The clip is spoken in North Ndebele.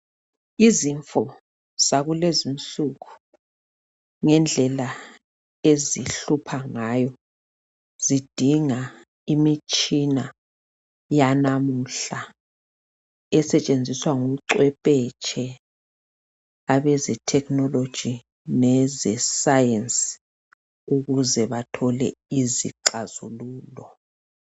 Izifo zakulezi insuku ngendlela ezihlupha ngayo zidinga imitshina yanamuhla esetshenziswa ngumcwephetshi abezethekhinoloji leze Science ukuze bathole izixazululo.